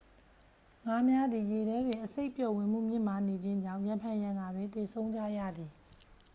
ငါးများသည် ရေထဲတွင် အဆိပ်ပျော်ဝင်မှု မြင့်မားနေခြင်းကြောင့် ရံဖန်ရံခါတွင်သေဆုံးကြရသည်